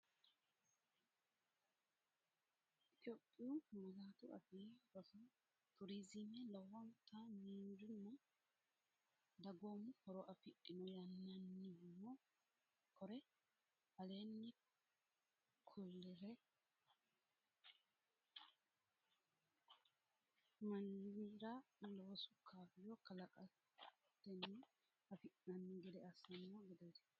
Itophiyu Malaatu Afii Roso Turizime lowota miinjunna dagoomu horo afidhino yinannihuno kore aleenni kullire shiqishatenna aate harinsho giddo lowo mannira loosu kaayyo kalaqatenni afi’nanni gede assanno gobba woxi eonniiti.